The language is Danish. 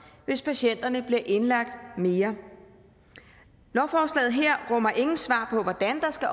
hvis patienterne bliver indlagt mere lovforslaget her rummer ingen svar på hvordan der skal